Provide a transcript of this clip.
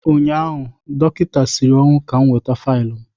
ụnyaahụ, dọkịta siri ọnwụ ka m weta faịlụ m.